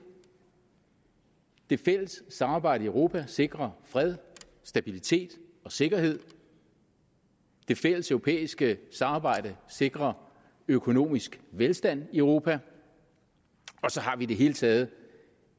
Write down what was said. det fælles samarbejde i europa sikrer fred stabilitet og sikkerhed det fælleseuropæiske samarbejde sikrer økonomisk velstand i europa og så har vi i det hele taget